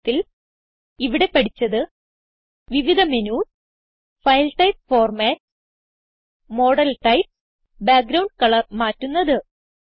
ചുരുക്കത്തിൽ ഇവിടെ പഠിച്ചത് വിവിധ menus file type formats model types background colour മാറ്റുന്നത്